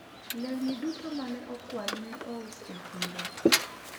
lewni duto mane okwal ne ous e chiro